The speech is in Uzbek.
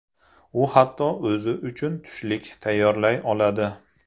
U hatto o‘zi uchun tushlik tayyorlay oladi.